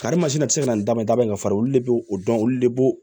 Karimasina tɛ se ka na ni daba ye da bɛɛ ka farin olu de b'o dɔn olu de b'o